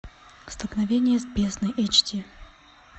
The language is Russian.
столкновение с бездной эйч ди